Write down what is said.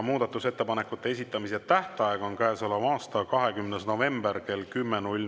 Muudatusettepanekute esitamise tähtaeg on käesoleva aasta 20. november kell 10.